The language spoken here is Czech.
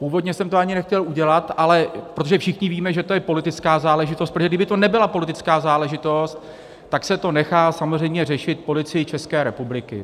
Původně jsem to ani nechtěl udělat, ale protože všichni víme, že to je politická záležitost - protože kdyby to nebyla politická záležitost, tak se to nechá samozřejmě řešit Policii České republiky.